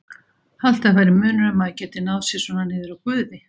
Haldið að væri munur ef maður gæti náð sér svona niður á Guði?